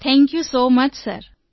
thank you so much sir